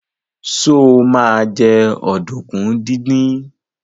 Sọ ma jẹ́ ọ̀dùnkún díndín?